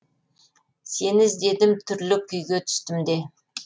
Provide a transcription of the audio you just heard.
сені іздедім түрлі күйге түстім де